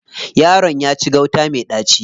Yaron ya ci gauta me ɗaci.